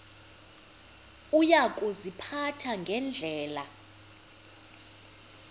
uya kuziphatha ngendlela